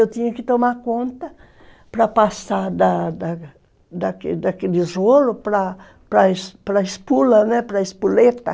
Eu tinha que tomar conta para passar da da da daquele daquele rolo para a espola, né, para a espoleta.